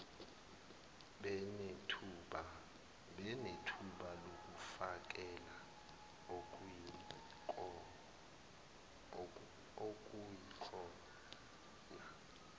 benethuba lokufakela okuyikhona